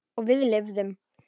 Og við lifðum.